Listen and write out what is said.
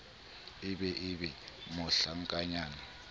e be e be mohlankanyana